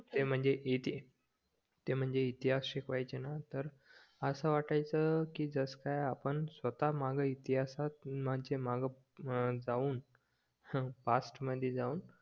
ते म्णजे ते म्णजे इतिहास शिकवायचे ना असं वाटायचं की जस काय आपण स्वतः इतिहासात जाऊन पास्ट मधी जाऊन